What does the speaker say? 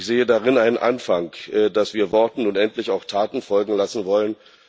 Ich sehe darin einen Anfang, dass wir Worten nun endlich auch Taten folgen lassen wollen.